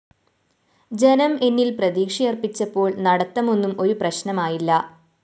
ജനം എന്നില്‍ പ്രതീക്ഷയര്‍പ്പിച്ചപ്പോള്‍ നടത്തമൊന്നും ഒരു പ്രശ്‌നമായില്ല